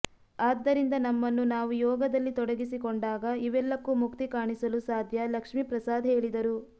ಆದ್ದರಿಂದ ನಮ್ಮನ್ನು ನಾವು ಯೋಗದಲ್ಲಿ ತೊಡಗಿಸಿಕೊಂಡಾಗ ಇವೆಲ್ಲಕ್ಕೂ ಮುಕ್ತಿ ಕಾಣಿಸಲು ಸಾಧ್ಯ ಲಕ್ಷ್ಮೀಪ್ರಸಾದ್ ಹೇಳಿದರು